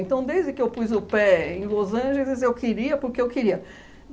Então, desde que eu pus o pé em Los Angeles, eu queria porque eu queria.